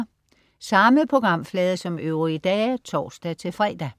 Samme programflade som øvrige dage (tor-fre)